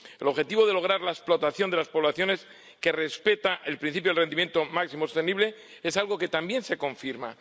El objetivo de lograr una explotación de las poblaciones que respete el principio del rendimiento máximo sostenible es algo que también se confirma.